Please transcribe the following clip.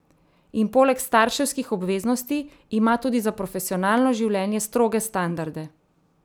In poleg starševskih obveznosti ima tudi za profesionalno življenje stroge standarde.